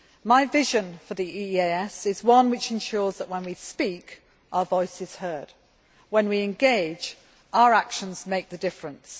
My vision for the EEAS is one which ensures that when we speak, our voice is heard and when we engage, our actions make the difference.